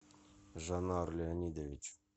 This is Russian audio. жанар леонидович